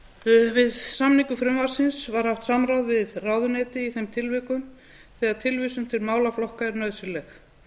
forsetaúrskurðinn við samningu frumvarpsins var haft samráð við ráðuneyti í þeim tilvikum þegar tilvísun til málaflokka er nauðsynleg